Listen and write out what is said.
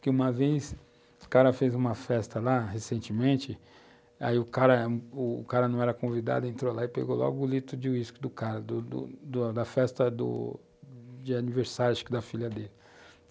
que uma vez o cara fez uma festa lá, recentemente, aí o cara, o cara não era convidado, entrou lá e pegou logo o litro de uísque do cara, do do da festa de aniversário, acho que da filha dele.